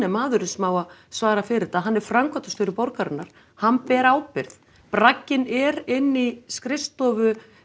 maðurinn sem á að svara fyrir þetta hann er framkvæmdastjóri borgarinnar hann ber ábyrgð bragginn er inni í skrifstofu